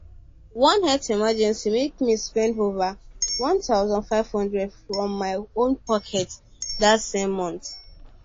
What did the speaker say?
one health emergency make me spend over 1500 from my own pocket that same month